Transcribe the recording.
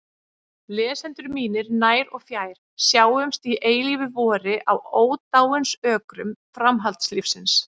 Lesendur mínir nær og fjær, sjáumst í eilífu vori á ódáinsökrum framhaldslífsins!